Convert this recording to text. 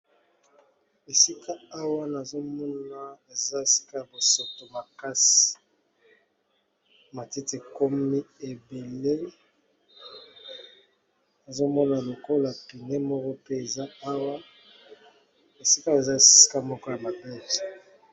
Esika awa nazomona eza esika ya bosoto makasi matiti ekomi ebele nazomona lokola pneu moko pe eza awa esikawa eza esika moko ya mabe.